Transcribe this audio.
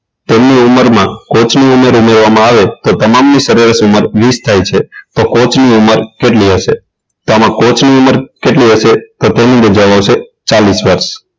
તેમની ઉંમરમાં coach ની ઉંમર ઉમેરવામાં આવે તો તમામની સરેરાશ ઉંમર વીસ થાય છે તો coach ની ઉંમર કેટલી હશે તો આમાં coach ની ઉંમર કેટલી તો તેનો જવાબ આવશે ચાલીસ વર્ષ